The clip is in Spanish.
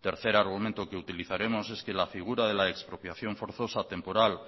tercer argumento que utilizaremos es que la figura de la expropiación forzosa temporal